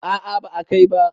a a ba a Kai ba